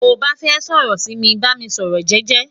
to ba fẹ sọrọ si mi, ba mi sọrọ jẹjẹ